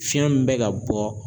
Fiɲɛ min bɛ ka bɔ